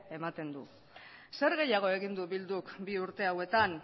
ematen du zer gehiago egin du bilduk bi urte hauetan